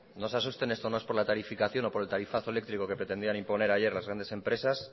no se asusten esto no es por la tarificación o por el tarifazo eléctrico que pretendían poner ayer las grandes empresas